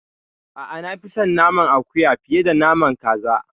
A'a, na fi son naman akuya fiye da naman kaza.